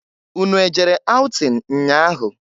Unu ejere aụtịn nnya ahụ?